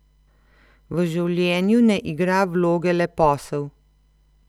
V življenju ne igra vloge le posel.